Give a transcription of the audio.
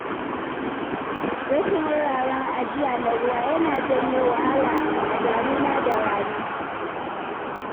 Rashin wuraren ajiya na ruwa yana janyo wahala a damina da rani.